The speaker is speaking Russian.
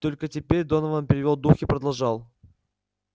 только теперь донован перевёл дух и продолжал